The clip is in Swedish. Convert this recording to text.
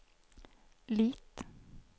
Lit